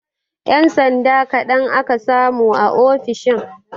Ƴan sanda kaɗan aka samu a ofishin